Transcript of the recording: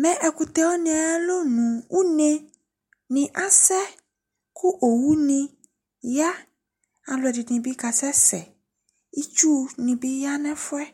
me ɛkutewani yalonu uneniase owuniya ɑluedini biasese itsunibiyanefue